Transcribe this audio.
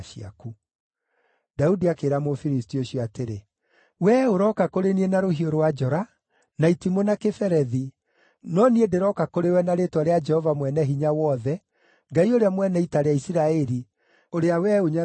Daudi akĩĩra Mũfilisti ũcio atĩrĩ, “Wee ũroka kũrĩ niĩ na rũhiũ rwa njora, na itimũ na kĩberethi, no niĩ ndĩroka kũrĩ we na rĩĩtwa rĩa Jehova Mwene-Hinya-Wothe, Ngai ũrĩa mwene ita rĩa Isiraeli, ũrĩa wee ũnyararithĩtie.